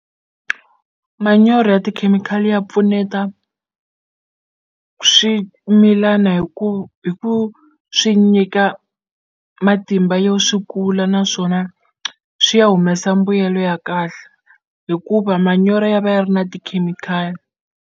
Manyoro ya tikhemikhali ya pfuneta swimilana hi ku hi ku swi nyika matimba yo swi kula naswona swi ya humesa mbuyelo ya kahle hikuva manyoro ya va ya ri na tikhemikhali.